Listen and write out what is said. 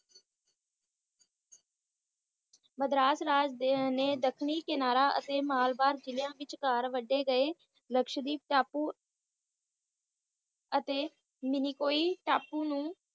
ਮਦ੍ਰਾਸ ਰਾਜ ਦੇ ਨੇ ਦੱਖਣੀ ਕਿਨਾਰਾ ਅਤੇ ਮਾਲਬਾਰ ਜਿਲਿਆਂ ਵਿਚਕਾਰ ਵਢੇ ਗਏ ਲਕਸ਼ਦ੍ਵੀਪ ਟਾਪੂ ਅਤੇ ਮਿੰਨੀਕੋਈ ਟਾਪੂ ਨੂੰ